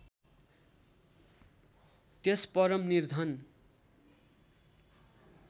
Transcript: त्यस परम निर्धन